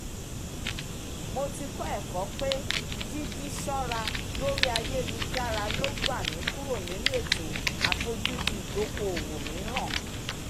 mo ti kọ́ ẹ̀kọ́ pé jíjí ṣọ́ra lórí ayélujára lo gba mi kúrò nínú ètò àfojúdi ìdokoowó miiran